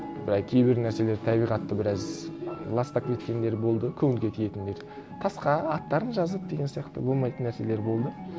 былай кейбір нәрселер табиғатты біраз ластап кеткендер болды көңілге тиетіндер тасқа аттарын жазып деген сияқты болмайтын нәрселер болды